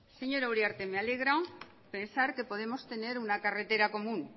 señora uriarte me alegra pensar que podemos tener una carretera común